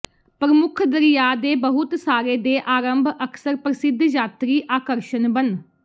ਪ੍ਰਮੁੱਖ ਦਰਿਆ ਦੇ ਬਹੁਤ ਸਾਰੇ ਦੇ ਆਰੰਭ ਅਕਸਰ ਪ੍ਰਸਿੱਧ ਯਾਤਰੀ ਆਕਰਸ਼ਣ ਬਣ